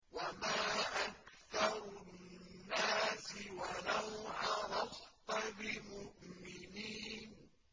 وَمَا أَكْثَرُ النَّاسِ وَلَوْ حَرَصْتَ بِمُؤْمِنِينَ